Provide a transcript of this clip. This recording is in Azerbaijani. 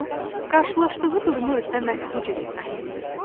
O, qarşılaşdığı durumu özünə məhz bu cür izah eləyirdi.